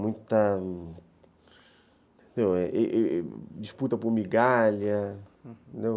muita disputa por migalha, uhum, entendeu